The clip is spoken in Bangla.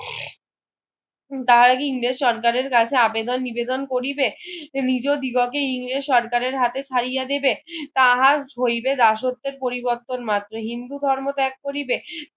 তাহারা কি ইংরেজ সরকারের কাছে আবেদন নিবেদন করিবে নিজ দিগকে ইংরেজ সরকারের হাতে ছাড়িয়া দেবে তাহার হইবে দাসত্বের পরিবর্তন মাত্র হিন্দু ধর্ম ত্যাগ করিবে